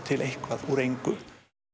eitthvað úr engu